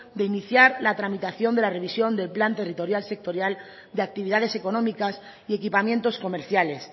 de iniciar la tramitación de la revisión del plan territorial sectorial de actividades económicas y equipamientos comerciales